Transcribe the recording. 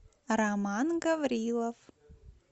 роман гаврилов